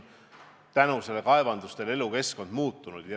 Kaevanduste tõttu on seal elukeskkond muutunud.